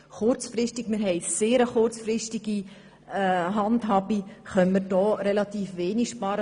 Kurzfristig können wir hier relativ wenig sparen.